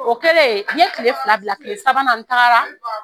O kɛlen n ye tile fila bila tile sabanan n taara